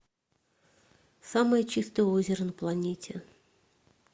самое чистое озеро на планете